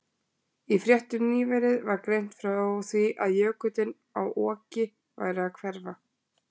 Í fréttum nýverið var greint frá því að jökullinn á Oki væri að hverfa.